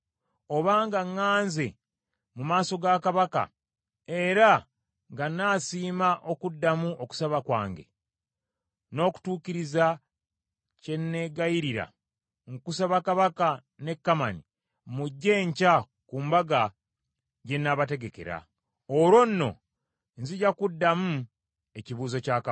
Obanga ŋŋanze mu maaso ga Kabaka era ng’anaasiima okuddamu okusaba kwange, n’okutuukiriza kye neegayirira, nkusaba kabaka ne Kamani mujje enkya ku mbaga gye nnaabategekera. Olwo nno, nzija kuddamu ekibuuzo kya kabaka.”